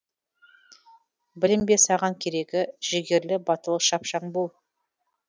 білім бе саған керегі жігерлі батыл шапшаң бол